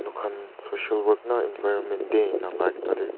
moikhan social work na environment day ena like tah teh--